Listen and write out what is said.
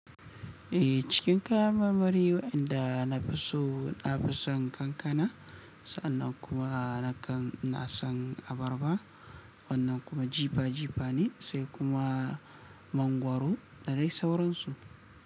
Eh cikin kayan marmari waƴanda na fi so, na fi son kankana, sannan kuma, nakan, ina san abarba, wannan kuma jifa jifa ne, sai kuma mangwaro da dai sauransu.